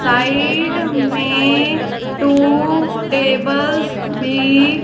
side मे two tables भी --